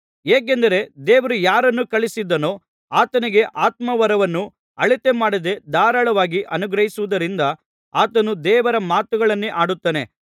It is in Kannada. ಹೇಗೆಂದರೆ ದೇವರು ಯಾರನ್ನು ಕಳುಹಿಸಿದ್ದಾನೋ ಆತನಿಗೆ ಆತ್ಮ ವರವನ್ನು ಅಳತೆಮಾಡದೆ ಧಾರಾಳವಾಗಿ ಅನುಗ್ರಹಿಸುವುದರಿಂದ ಆತನು ದೇವರ ಮಾತುಗಳನ್ನೇ ಆಡುತ್ತಾನೆ